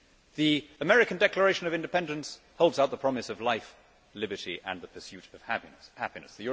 The American Declaration of Independence holds out the promise of life, liberty and the pursuit of happiness.